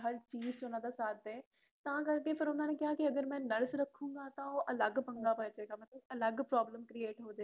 ਹਰ ਚੀਜ ਚ ਓਹਨਾ ਦਾ ਸਾਥ ਦੇ ਤਾਂ ਕਰਕੇ ਫੇਰ ਓਹਨਾ ਨੇ ਕਿਹਾ ਕਿ ਅਗਰ ਮੈ nurse ਰਖੁਗਾ ਤਾਂ ਓਹ ਅਲ੍ਹਗ ਪੰਗਾ ਪੇਜੇਗਾ ਅਲਗ problem create ਹੋਜੇਗੀ